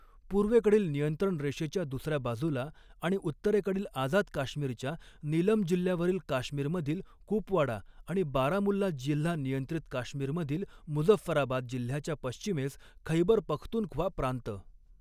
पूर्वेकडील नियंत्रण रेषेच्या दुसऱ्या बाजूला आणि उत्तरेकडील आझाद काश्मीरच्या नीलम जिल्ह्यावरील काश्मीरमधील कुपवाडा आणि बारामुल्ला जिल्हा नियंत्रित काश्मीरमधील मुझफ्फराबाद जिल्ह्याच्या पश्चिमेस खैबर पख्तूनख्वा प्रांत.